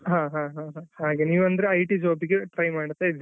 ಹಾ ಹಾ ಹಾಗೆ ನೀವು ಅಂದ್ರೆ IT job ಗೆ try ಮಾಡ್ತಾ ಇದಿರಾ.